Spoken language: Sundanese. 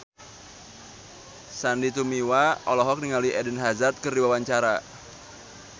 Sandy Tumiwa olohok ningali Eden Hazard keur diwawancara